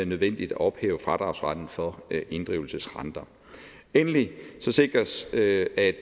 nødvendigt at ophæve fradragsretten for inddrivelsesrenter endelig sikres det at